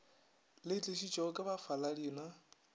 di tlišitšwego ke bafaladi na